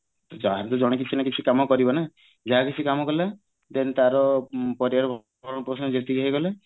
ଯାହା ହେଲେ ବି ଜଣେ କିଛି ନ କିଛି କାମ କରିବା ନା ଯାହା କିଛି କାମ କଲା then ତାର ପରିବାର ପୋଷଣ ସେତିକି ହେଇଗଲେ